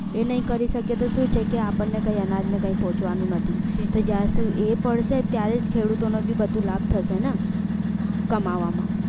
એ નહી કરી શકીએ સુ છે કે અપન ને કે કઈ અનાજ ને કઈ પોચવા નું નથી જ્યાં સુ એ પડશે ત્યારે ખેડૂતો ને લાભ થશે ન કમાવા મા